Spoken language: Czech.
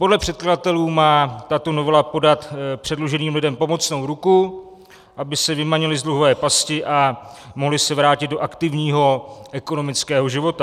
Podle předkladatelů má tato novela podat předluženým lidem pomocnou ruku, aby se vymanili z dluhové pasti a mohli se vrátit do aktivního ekonomického života.